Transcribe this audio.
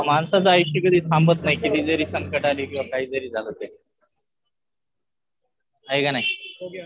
माणसाचं आयुष्य कधी थांबत नाही. किती जरी संकटं आली किंवा काही जरी झालं तर है का नाही.